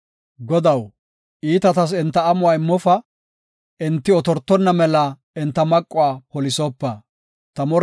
Godaw, iitatas enta amuwa immofa; enti otortonna mela enta maquwa polisopa. Salaha